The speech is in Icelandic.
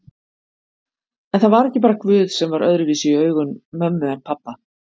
En það var ekki bara guð sem var öðruvísi í augum mömmu en pabba.